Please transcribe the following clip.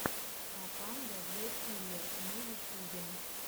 папанда зэ киллер на ютюбе